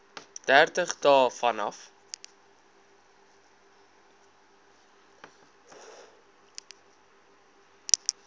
dertig dae vanaf